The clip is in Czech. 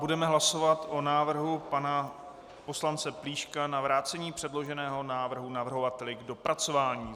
Budeme hlasovat o návrhu pana poslance Plíška na vrácení předloženého návrhu navrhovateli k dopracování.